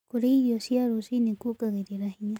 Kũrĩa irio cia rũcĩĩnĩ kũongagĩrĩra hinya